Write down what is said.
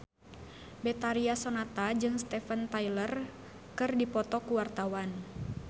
Betharia Sonata jeung Steven Tyler keur dipoto ku wartawan